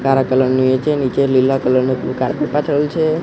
કાળા કલર નુ એ છે નીચે લીલા કલર નુ કાર્પેટ પાથરેલું છે.